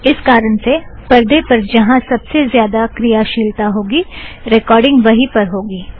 इस कारण से परदे पर जहाँ सबसे ज़्यादा क्रियाशीलता होगी रेकॉर्ड़िंग वहीं पर होगी